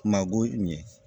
Ma go ɲɛ